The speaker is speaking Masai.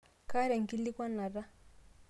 kaata enkikilikuanata